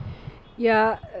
ja